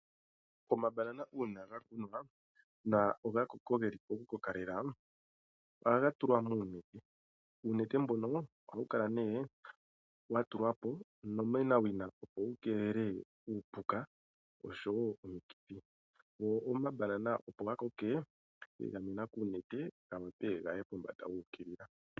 Omabanana uuna ga kunwa na ogakoko geli pokukoka lela ohaga tulwa muunete. Uunete mbono ohawu kala nee wa tulwapo onomenawina opo wukeelele uupuka oshowo omikithi go omabanana